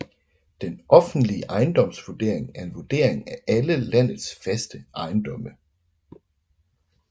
Den offentlige ejendomsvurdering er en vurdering af alle landets faste ejendomme